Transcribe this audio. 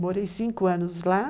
Morei cinco anos lá.